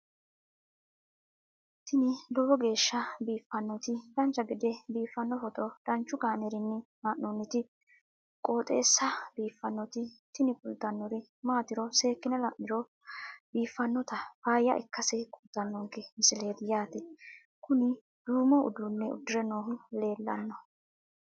tini lowo geeshsha biiffannoti dancha gede biiffanno footo danchu kaameerinni haa'noonniti qooxeessa biiffannoti tini kultannori maatiro seekkine la'niro biiffannota faayya ikkase kultannoke misileeti yaate kuni duumo uduunne udire noohu leellanno